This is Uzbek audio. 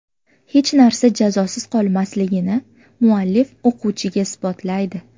Hech narsa jazosiz qolmasligini muallif o‘quvchiga isbotlaydi.